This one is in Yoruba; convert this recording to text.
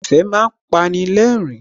Ẹ̀fẹ̀ má ń pani lẹ́rìn-ín